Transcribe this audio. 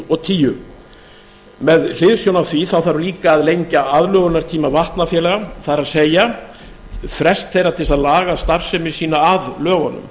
og tíu með hliðsjón af því þá þarf líka að lengja aðlögunartíma vatnafélaga það er frest þeirra til þess að laga starfsemi að lögunum